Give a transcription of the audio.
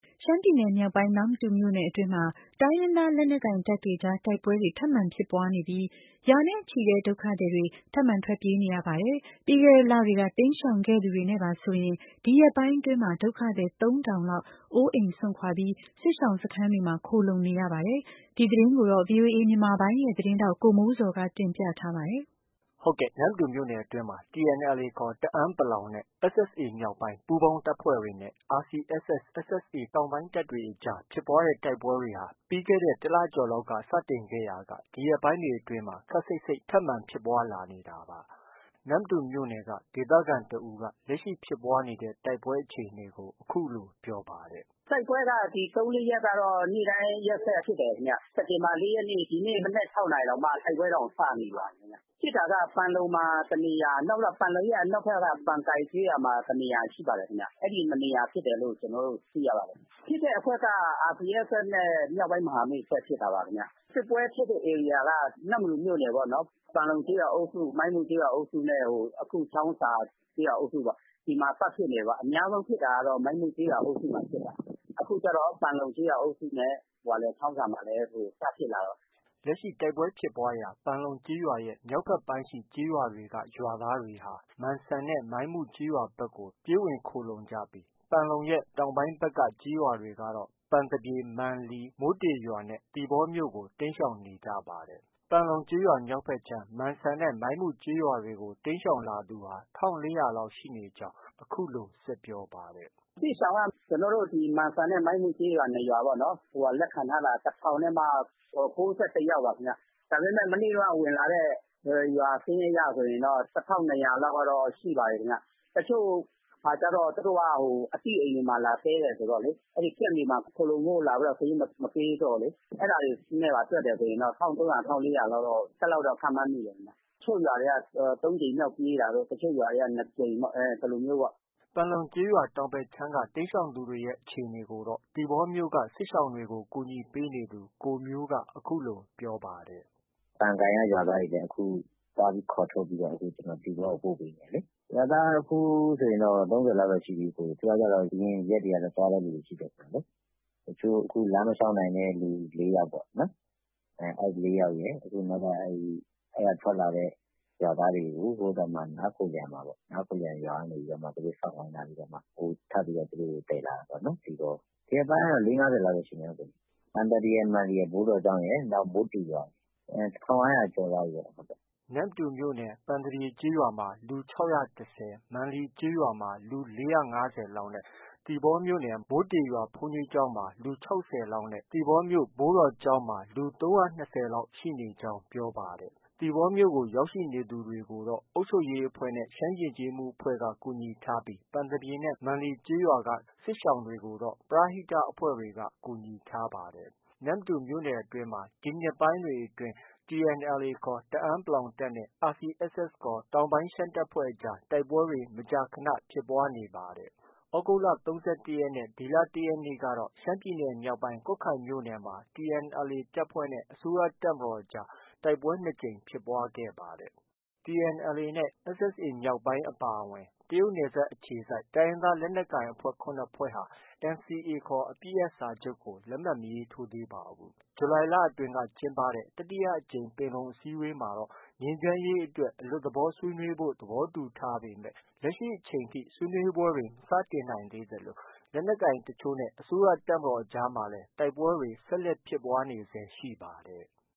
ရှမ်းပြည်နယ်မြောက်ပိုင်း နမ္မတူမြို့နယ်အတွင်းမှာ တိုင်းရင်းသားလက်နက်ကိုင်တပ်တွေအကြားမှာတိုက်ပွဲတွေ ထပ်မံဖြစ်ပွားနေပြီး ရာနဲ့ချီတဲ့ဒုက္ခသည်တွေ ထပ်မံထွက်ပြေးနေရပါတယ်။ ပြီးခဲ့တဲ့လတွေက တိမ်းရှောင်ခဲ့သူတွေနဲ့ပါဆိုရင် ဒီရက်ပိုင်းအတွင်းမှာ ဒုက္ခသည် ၃ထောင်လောက် အိုးအိမ်စွန့်ခွာပြီး စစ်ရှောင်စခန်းတွေမှာ ခိုလှုံနေရပါတယ်။ ဒီသတင်းကိုတော့ ဗွီအိုအေမြန်မာပိုင်းရဲ့သတင်းထောက် ကိုမိုးဇော်က တင်ပြထားပါတယ်။ နမ္မတူမြို့နယ်အတွင်းမှာ TNLAခေါ် တအာင်း နဲ့ SSA-မြောက်ပိုင်း ပူးပေါင်းတပ်ဖွဲ့တွေနဲ့ RCSS/SSA တောင်ပိုင်းတပ်တွေအကြားဖြစ်ပွားတဲ့တိုက်ပွဲတွေဟာ ပြီးခဲ့တဲ့ တစ်လကျော်လောက်က စတင်ခဲ့ရာကဒီရက်ပိုင်းအတွင်းမှာ ခပ်စိပ်စိပ် ထပ်မံဖြစ်ပွားလာနေတာပါ။ နမ္မတူမြို့နယ်က ဒေသခံတဦးက လက်ရှိဖြစ်ပွားနေတဲ့တိုက်ပွဲအခြေအနေကို အခုလို ပြောပါတယ်။ “ တိုက်ပွဲက ဒီ ၃- ၄ရက်ကတော့ နေ့တိုင်းရက်ဆက်ဖြစ်တယ်ခင်ဗျ။ စက်တင်ဘာ ၄ရက်နေ့ ဒီနေ့မနက် ၆နာရီတောင်မှ တိုက်ပွဲစနေပါပြီ။ ဖြစ်တာက ပန်လုံမှာ တနေရာ၊ ပန်လုံရဲ့အနောက်ဖက်က ပန်ကိုင်ကျေးရွာမှာ တနေရာ မှာဖြစ်တဲ့ခင်ဗျ။ အဲဒီ ၂နေရာဖြစ်တယ်လို့ သိရပါတယ်။ ဖြစ်တဲ့အဖွဲ့က RCSS နဲ့ မြောက်ပိုင်းမဟာမိတ်အဖွဲ့ဖြစ်တာပါခင်ဗျ။ စစ်ပွဲဖြစ်တဲ့ ဧရိယာက နမ္မတူမြို့နယ်ပေါ့။ ပန်လုံကျေးရွာအုပ်စု၊ မိုင်းမုကျေးရွာအုပ်စုနဲ့ အခုချောင်းဆာကျေးရွာအုပ်စုပေါ့။ အဲမှာပတ်ဖြစ်နေတာပေါ့။ အများဆုံးဖြစ်တာက မိုင်းမုကျေးရွာအုပ်စုမှာဖြစ်တာ။ အခု ပန်လုံကျေးရွာအုပ်စုနဲ့ ချောင်းဆာမှာလည်း စဖြစ်လာတာပေါ့။ ” လက်ရှိတိုက်ပွဲဖြစ်ပွားရာ ပန်လုံကျေးရွာရဲ့ မြောက်ဘက်ပိုင်းရှိကျေးရွာတွေက ရွာသားတွေဟာ မန်စံနဲ့ မိုင်းမုကျေးရွာတွေကို ပြေးဝင်ခိုလှုံကြပြီး ပန်လုံရဲ့ တောင်ဘက်ပိုင်းက ကျေးရွာတွေကတော့ ပန်သပြေ၊ မန်လီ၊ မိုးတေရွာတွေနဲ့ သီပေါမြို့ကို တိမ်းရှောင်နေကြပါတယ်။ ပန်လုံကျေးရွာမြောက်ဖက်ခြမ်း မန်စံနဲ့ မိုင်းမုကျေးရွာတွေကို တိမ်းရှောင်သူ ၁၄၀၀လောက်ရှိနေကြောင်းအခုလို ဆက်ပြောပါတယ်။ “ စစ်ရှောင်က မန်စံနဲ့ မိုင်းမုကျေးရွာ ၂ရွာပေါ့နော် လက်ခံထားတာ ၁ထောင်နဲ့မှ ၉၁ယောက်ပါ။ ဒါပေမဲ့ မနေ့တုံးက ဝင်လာတဲ့ စာရင်းအရဆိုရင် ၁ထောင့် ၂ရာ လောက်ရှိပါတယ်ခင်ဗျ။တချို့ကျတော့ သူတို့က အသိအိမ်တွေမှာ လာတည်းတယ်ဆိုတော့ camp တွေမှာလာပြီးတော့ စာရင်း မပေးတော့ အဲဒါတွေနဲ့ပါ တွက်တယ်ဆိုရင်တော့ ၁၃၀၀၊ ၁၄၀၀လောက် တော့ ခန့်မှန်းမိတယ်ခင်ဗျ။ တချို့ ရွာတွေက ၃ကြိမ်မြောက်ပြေးတာတို့၊ တချို့ ရွာတွေက ၂ကြိမ်တို့ အဲလိုမျိုးပေါ့။ ” ပန်လုံကျေးရွာတောင်ဘက်ခြမ်းက တိမ်းရှောင်သူတွေအခြေအနေကို သီပေါမြို့က စစ်ရှောင်တွေကို ကူညီပေးနေသူ ကိုမျိုးက အခုလို ပြောပါတယ်။ “ ပန်ကိုင်က ရွာသားတွေလည်း အခုသွားခေါ်ထုတ်ပြီးတော့ သီပေါကို ပို့ပေးနေတယ်လေ။ ရွာသားက အခုဆိုရင် ၃၀လောက်တော့ ရှိပြီ။ သူကကျတော့ အရင်ရက်တွေကလည်း သွားတဲ့လူတွေ ရှိတယ်လေ။ အခု လမ်းမလျှောက်နိုင်တဲ့လူ ၄ယောက်ရယ်၊ အခုနောက်ထပ် အဲဒီက ထွက်လာတဲ့ ရွာသားတွေကို နားခိုလျံမှာပေါ့၊ နားခိုလျံရွာကနေ သူတို့စောင့်ခိုင်းထားပြီး ထပ်ပြီးတော့ သယ်လာတာပေါ့နော် သီပေါကို။ ဒီရက်ပိုင်းကတော့ ၄- ၅၀ လောက်တော့ ရှိမယ်။ ပန်သပြေရယ်၊ မန်လီရယ်၊ ဘိုးတော်ကျောင်းရယ်၊ မိုးတေရယ် ၁၅၀၀ကျော်သွားပြီပေါ့။ ” နမ္မတူမြို့နယ် ပန်သပြေရွာမှာ လူ ၆၁၀၊ မန်လီရွာမှာ လူ ၄၅၀လောက်နဲ့ သီပေါမြို့နယ် မိုးတေရွာ ဘုန်းကြီးကျောင်းမှာ လူ ၆၀လောက်နဲ့ သီပေါမြို့ ဘိုးတော်ကျောင်းမှာ လူ ၃၂၀လောက် ရှိနေကြောင်း ပြောပါတယ်။ သီပေါမြို့ပေါ်ကို ရောက်ရှိနေသူတွေကိုတော့ အုပ်ချုပ်ရေးအဖွဲ့နဲ့ ရှမ်းယဉ်ကျေးမှုအဖွဲ့က ကူညီထားပြီး ပန်သပြေနဲ့မန်လီကို ပရဟိတအဖွဲ့တွေက ကူညီထားပါတယ်။ နမ္မတူမြို့နယ်အတွင်းမှာ ဒီနှစ်ပိုင်းတွေအတွင်း TNLAခေါ် တအာင်း တပ်နဲ့ RCSSခေါ် တောင်ပိုင်းရှမ်းတပ်ဖွဲ့အကြား တိုက်ပွဲတွေ မကြာခနဖြစ်ပွားနေတာဖြစ်ပါတယ်။ သြဂုတ်လ ၃၁ရက်နဲ့ ဒီလ ၁ရက်နေ့ကတော့ ရှမ်းပြည်နယ်မြောက်ပိုင်း ကွတ်ခိုင်မြို့နယ် TNLA တပ်ဖွဲ့နဲ့ အစိုးရတပ်မတော်အကြား တိုက်ပွဲ ၂ကြိမ်ဖြစ်ပွားခဲ့ပါတယ်။ TNLA နဲ့ SSA မြောက်ပိုင်းအဖွဲ့အပါအဝင် တရုတ်နယ်စပ်အခြေစိုက် တိုင်းရင်းသား လက်နက်ကိုင် အဖွဲ့ ၇ဖွဲ့ဟာ NCA ခေါ် အပစ်ရပ်စာချုပ်ကို လက်မှတ်မရေးထိုးသေးပါဘူး။ ဇူလိုင်လမှာ ကျင်းပတဲ့ တတိယအကြိမ် ပင်လုံအစည်းအဝေးမှာတော့ ငြိမ်းချမ်းရေးအတွက် အလွတ်သဘောဆွေးနွေးဖို့ သဘောတူညီထားပေမဲ့ ဆွေးနွေးပွဲတွေ မစတင်နိုင်သေးသလို လက်နက်ကိုင်တချို့နဲ့ အစိုးရတပ်မတော်အကြားမှာ တိုက်ပွဲတွေလည်း ဆက်လက်ဖြစ်ပွားနေဆဲဖြစ်ပါတယ်။